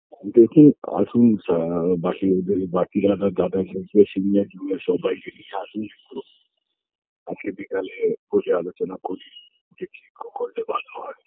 দেখি আসুন যা বাকি ওদের বাকি যারা দাদা এসেছে senior junior সবাইকে নিয়ে আসুন আজকে বিকালে বসে আলোচনা করি যে কি করলে ভালো হয়